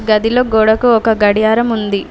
గదిలో గోడకు ఒక గడియారం ఉంది.